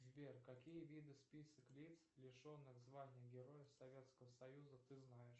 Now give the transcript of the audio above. сбер какие виды список лиц лишенных звания героя советского союза ты знаешь